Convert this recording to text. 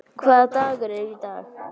Sæmunda, hvaða dagur er í dag?